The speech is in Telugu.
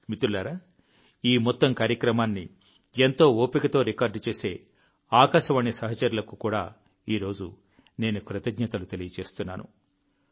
మిత్రులారా ఈ మొత్తం కార్యక్రమాన్ని ఎంతో ఓపికతో రికార్డ్ చేసే ఆకాశవాణి సహచరులకు కూడా ఈరోజు నేను కృతజ్ఞతలు తెలియజేస్తున్నాను